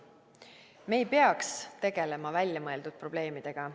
Me ei peaks tegelema väljamõeldud probleemidega.